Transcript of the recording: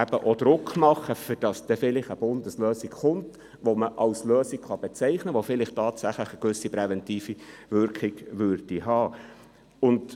Damit soll auch Druck gemacht werden, damit eine Bundeslösung resultiert, welche auch als Lösung bezeichnet werden kann und eine gewisse präventive Wirkung haben könnte.